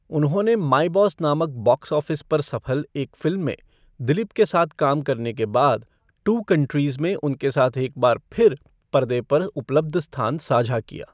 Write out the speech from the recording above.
उन्होंने My Boss नामक box office पर सफल एक फ़िल्म में दिलीप के साथ काम करने के बाद टू कंट्रीज़ में उनके साथ एक बार फिर पर्दे पर उपलब्ध स्थान साझा किया।